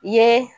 I ye